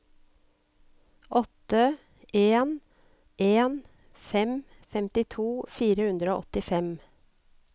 åtte en en fem femtito fire hundre og åttifem